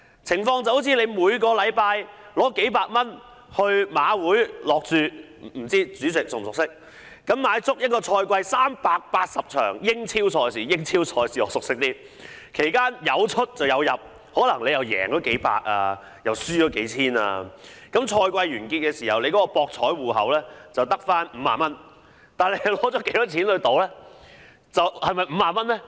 情況好像每星期花數百元去馬會下注——不知道主席是否熟悉——買足一個賽季380場英超賽事——我比較熟悉英超賽事——其間有出有入，可能贏到數百元，又可能輸了數千元，賽季完結時，博彩戶口只剩下50元，但你花了多少錢去賭呢？